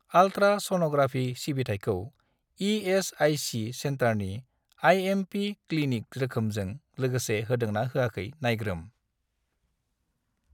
Ultra sonography सिबिथायखौ ESIC. सेन्टारनि IMP. Clinic रोखोमजों लोगोसे होदों ना होयाखै नायग्रोम।